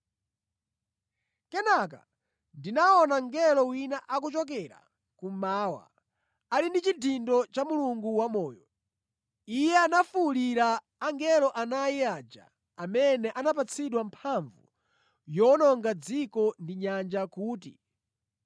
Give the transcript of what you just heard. Kenaka ndinaona mngelo wina akuchokera kummawa, ali ndi chidindo cha Mulungu wamoyo. Iye anafuwulira angelo anayi aja amene anapatsidwa mphamvu yowononga dziko ndi nyanja kuti,